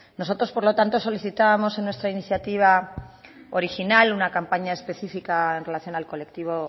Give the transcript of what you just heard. nosotros por lo tanto solicitábamos en nuestra iniciativa original una campaña específica en relación al colectivo